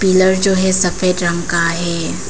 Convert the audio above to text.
Blur जो है सफेद रंग का है।